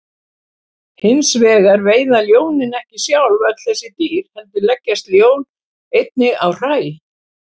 Hins vegar veiða ljónin ekki sjálf öll þessi dýr heldur leggjast ljón einnig á hræ.